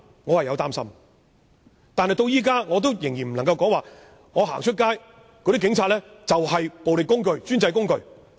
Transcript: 我擔心但我仍然不能說，警察是暴力的工具或專制的工具。